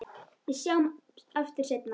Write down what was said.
Við sjáumst aftur seinna.